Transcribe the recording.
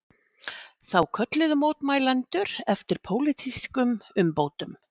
Þá kölluðu mótmælendur eftir pólitískum umbótum